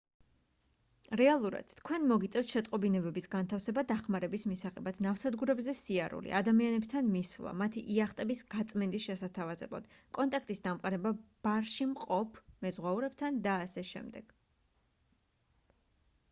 რეალურად თქვენ მოგიწევთ შეტყობინებების განთავსება დახმარების მისაღებად ნავსადგურებზე სიარული ადამიანებთან მისვლა მათი იახტების გაწმენდის შესათავაზებლად კონტაქტის დამყარება ბარში მყოფ მეზღვაურებთან და აშ